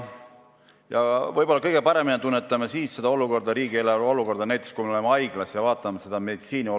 Vahest kõige paremini me tunnetame riigieelarve olukorda, kui me oleme haiglas ja näeme meditsiini seisu.